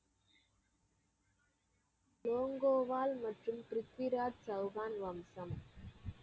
லோங்கோவால் மற்றும் ப்ரித்விராஜ் சவுகான் வம்சம்?